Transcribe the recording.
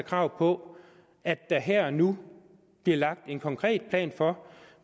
krav på at der her og nu bliver lagt en konkret plan for